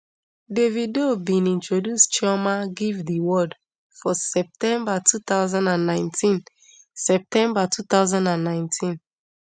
davido um bin introduce chioma give di world for september two thousand and nineteen september two thousand and nineteen